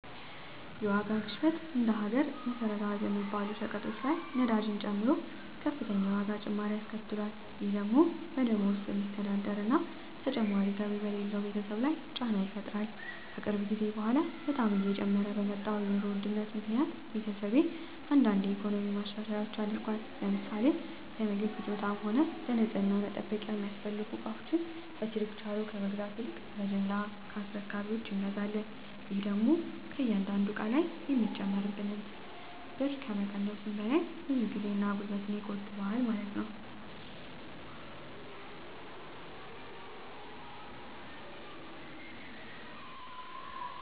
የዋጋ ግሽበት እንደ ሀገር መሰረታዊ በሚባሉ ሸቀጦች ላይ ነዳጅን ጨምሮ ከፍተኛ የዋጋ ጭማሪ አስከትሏል። ይህ ደግሞ በደሞዝ በሚስተዳደር እና ተጨማሪ ገቢ በሌለው ቤተሰብ ላይ ጫና ይፈጥራል። ከቅርብ ጊዜ በኃላ በጣም እየጨመረ በመጣው የኑሮ ውድነት ምክኒያት ቤተሰቤ አንዳንድ የኢኮኖሚ ማሻሻያዎች አድርጓል። ለምሳሌ ለምግብ ፍጆታም ሆነ ለንፅህና መጠበቂያ የሚያስፈልጉ እቃወችን በችርቻሮ ከመግዛት ይልቅ በጅምላ ከአስረካቢወች እንገዛለን። ይህ ደግሞ ከእያንዳንዱ እቃ ላይ የሚጨመርብንን ትርፍ ብር ከመቀነሱም ባለፈ ጊዜን እና ጉልበትን ይቆጥባል።